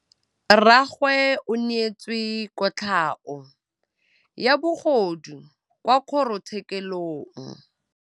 Rragwe o neetswe kotlhaô ya bogodu kwa kgoro tshêkêlông.